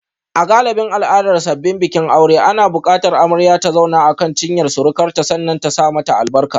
A galibin al'adar sabbin bikin aure na bukatar amarya ta zauna akan cinyar surukarta sannan ta saka mata albarka.